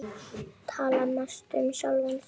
Tala mest um sjálfan sig.